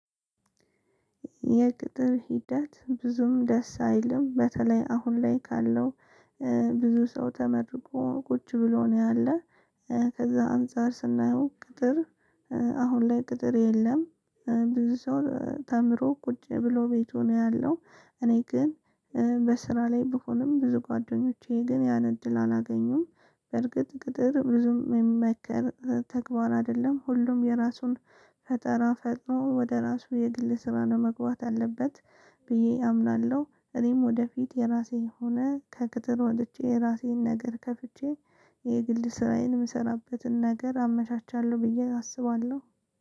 የቅጥር ሂደት ብዙም ደስ አይልም በተለይ አሁን ላይ ካለው ብዙ ሰው ተመርቆ ቁጭ ብሎ ነው ያለ። ከዛ አንፃር ስናየው ቅጥር አሁን ላይ ቅጥር የለም። ብዙ ሰው ተምሮ ቁጭ ብሎ ቤቱ ነው ያለው እኔ ግን በስራ ላይ ብሆንም ብዙ ጓደኞቼ ግን ያን እድል አላገኙም። በርግጥ ቅጥር ብዙም የሚመከር ተግባር አይደለም ሁሉም የራሱን ፈጠራ ፈጥሮ ወደ ራሱ የግል ስራ ነው መግባት ያለበት ብዬ አምናለሁ። እኔም ወደፊት የራሴ ሆነ ከቅጥር ወጥቼ የራሴን ነገር ከፍቼ የግል ስራዬን የምሰራበትን ነገር አመቻቻለሁ ብዬ አስባለሁ።